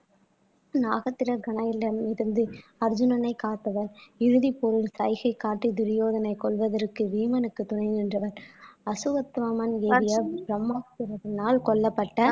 நாகத்துலகனயில இருந்து அர்ஜுனனை காத்தவர் இறுதி போரில் சைகை காட்டி துரியோதனை கொல்வதற்கு பீமனுக்கு துணை நின்றவர் அசுவத்தாமன் ப்ரஹ்மாஸ்திரத்தினால் கொல்லப்பட்ட